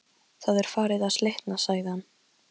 Það er farið að slitna sagði hann.